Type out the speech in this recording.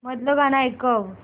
मधलं गाणं ऐकव